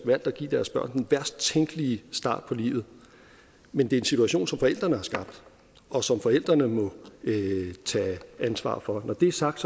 at give deres børn den værst tænkelige start på livet men det er en situation som forældrene har skabt og som forældrene må tage ansvar for når det er sagt